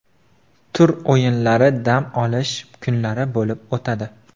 Tur o‘yinlari dam olish kunlari bo‘lib o‘tadi.